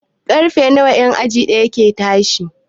Karfe nawa en aji ɗaya ke tashi?